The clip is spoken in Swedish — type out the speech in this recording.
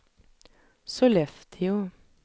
Sollefteå